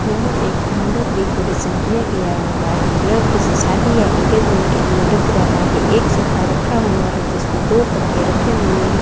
यह एक मंडप डेकोरेशन किया गया हुआ है यह किसी शादी या इंगेजमेंट के लिए लग रहा है एक सोफा रखा हुआ है जिसमें दो तकिया रखे हुए हैं।